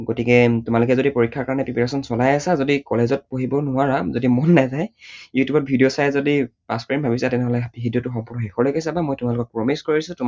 গতিকে তোমালোকে যদি পৰীক্ষাৰ কাৰণে preparation চলাই আছা যদি college ত পঢ়িব নোৱাৰা, যদি মন নাযায়, ইউটিউবত video চাই যদি pass কৰিম ভাবিছা তেনেহলে video টো সম্পূৰ্ণ শেষলৈকে চাবা মই তোমালোকক promise কৰিছো তোমালোকৰ